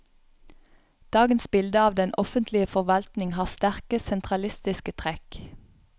Dagens bilde av den offentlige forvaltning har sterke, sentralistiske trekk.